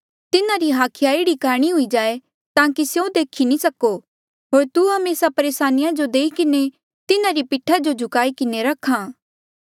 तिन्हारी हाखिया एह्ड़ी काणी हुई जाये ताकि स्यों देखी नी सको होर तू हमेसा परेसानिया जो देई किन्हें तिन्हारी पीठा जो झुकाई किन्हें रख्या